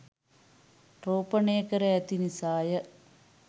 රෝපණය කර ඇති නිසා ය.